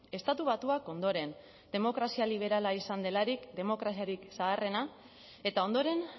estatu batuak ondoren demokrazia liberala izan delarik demokraziarik zaharrena eta ondoren